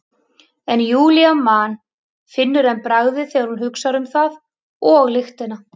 En Júlía man, finnur enn bragðið þegar hún hugsar um það, og lyktina.